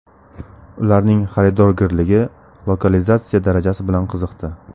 Ularning xaridorgirligi, lokalizatsiya darajasi bilan qiziqdi.